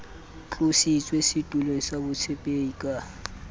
tlositswe setulong sa botshepehi ka